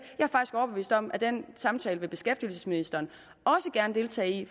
jeg om at den samtale vil beskæftigelsesministeren også gerne deltage i